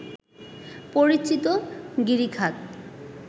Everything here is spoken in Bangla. পরিচিত গিরিখাত